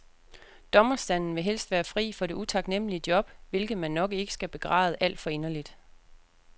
Dommerstanden vil helst være fri for det utaknemmelige job, hvilket man nok ikke skal begræde alt for inderligt.